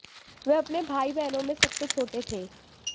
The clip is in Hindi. वह अपने भाई बहनों में सबसे छोटे थे